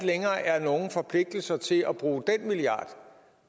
længere er nogen forpligtelser til at bruge den milliard